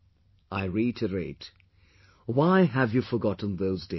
I reiterate why have you forgotten those days